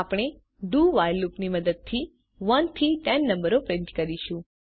આપણે do while લૂપની મદદથી 1 થી 10 નંબરો પ્રિન્ટ કરીશું